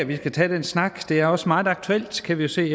vi skal tage den snak og det er også meget aktuelt kan vi jo se